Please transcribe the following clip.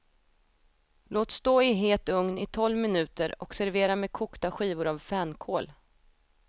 Låt stå i het ugn i tolv minuter och servera med kokta skivor av fänkål.